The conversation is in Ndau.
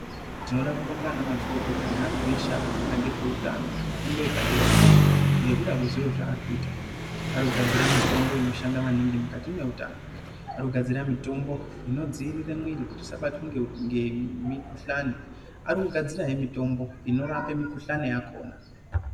Tinoda kubonga ana mazvikokota nea tu eshe akafunda ngezveutano kufundo yepadera dera ngekuda kwezviro zvaarikuita ariku gadzirira mitombo inoshanda maningi mukati mweutano ari kugadzira mitombo inodzivirira muviri kuti isabatwa ngemukuhlani arikugadzira hee mutombo inorape mukuhlani yakona.